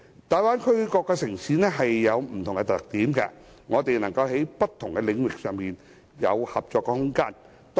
大灣區各個城市有不同特點，我們能在不同的領域上有合作空間。